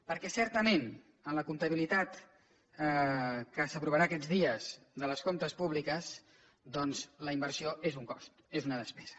perquè certament en la comptabilitat que s’aprovarà aquests dies dels comptes públics doncs la inversió és un cost és una despesa